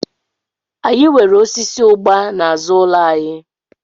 Anyị nwere osisi ụgba n'azụ ụlọ anyị.